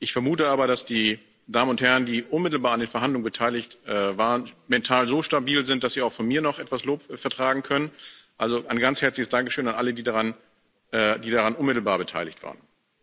Ich vermute aber, dass die Damen und Herren, die unmittelbar an den Verhandlungen beteiligt waren, mental so stabil sind, dass Sie auch von mir noch etwas Lob vertragen können. Also ein ganz herzliches Dankeschön an alle, die daran unmittelbar beteiligt waren!